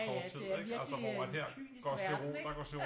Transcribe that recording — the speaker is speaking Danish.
Ja ja det er virkelig en kynisk verden ikke